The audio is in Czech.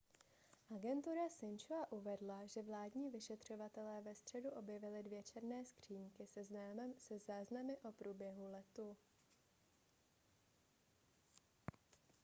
agentura sin-chua uvedla že vládní vyšetřovatelé ve středu objevili dvě černé skříňky se záznamy o průběhu letu